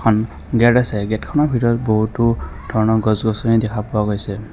উম gate আছে গেটখনৰ ভিতৰত বহুতো ধৰণৰ গছ-গছনি দেখা পোৱা গৈছে।